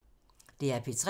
DR P3